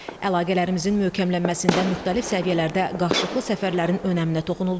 Əlaqələrimizin möhkəmlənməsində müxtəlif səviyyələrdə qarşılıqlı səfərlərin önəminə toxunuldu.